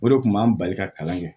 O de kun b'an bali ka kalan kɛ